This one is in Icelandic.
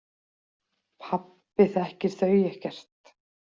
Pabbi þekkir þau ekkert.